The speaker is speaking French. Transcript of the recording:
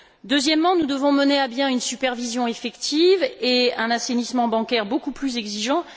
Deuxièmement, nous devons mener à bien une supervision effective et un assainissement bancaire beaucoup plus exigeant.